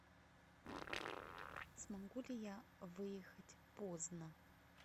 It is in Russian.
смогу ли я выехать поздно